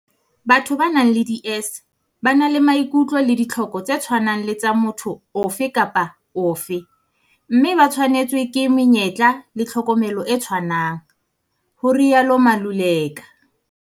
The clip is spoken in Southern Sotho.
"Batho ba nang le DS ba na le maikutlo le ditlhoko tse tshwanang le tsa motho ofe kapa ofe mme ba tshwanetswe ke menyetla le tlhokomelo e tshwanang," ho rialo Maluleka.